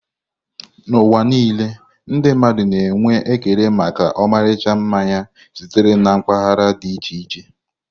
N'ụwa niile, ndị mmadụ na-enwe ekele maka ọmarịcha mmanya sitere na mpaghara dị iche iche.